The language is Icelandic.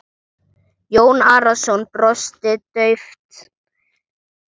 Jón Arason brosti dauft.